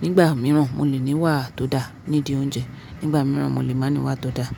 nígbà mìíràn mo lè ní wà tó dáa nídìí oúnjẹ, nígbà mìíràn mo lè má ní wà tó dáa.